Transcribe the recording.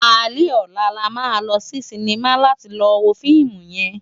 Álé òlá là má lò si sinimá láti lò wó fiimú yèn